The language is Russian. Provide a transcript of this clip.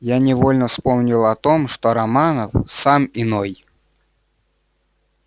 я невольно вспомнил о том что романов сам иной